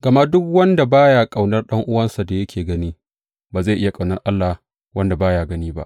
Gama duk wanda ba ya ƙaunar ɗan’uwansa da yake gani, ba zai iya ƙaunar Allah wanda ba ya gani ba.